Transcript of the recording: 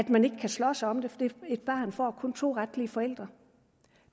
man ikke kan slås om det for et barn får kun to retlige forældre